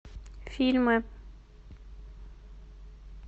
фильмы